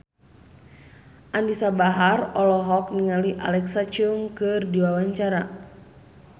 Anisa Bahar olohok ningali Alexa Chung keur diwawancara